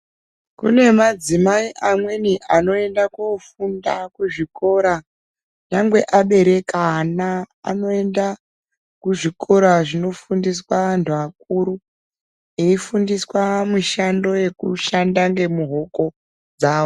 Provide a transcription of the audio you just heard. Kune madzimai amweni anoenda koofunda kuzvikora nyangwe abereka ana. Anoenda kuzvikora zvinofundiswa antu akuru. Eifundiswa mushando yekushanda ngemuhoko dzavo.